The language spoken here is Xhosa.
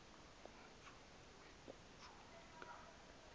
we kujuni ka